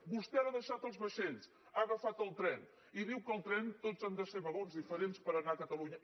vostè ara ha deixat els vaixells ha agafat el tren i diu que al tren tot han de ser vagons diferents per anar a catalunya